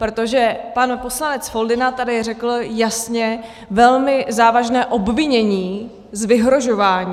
Protože pan poslanec Foldyna tady řekl jasně velmi závažné obvinění z vyhrožování.